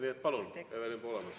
Nii et palun, Evelin Poolamets!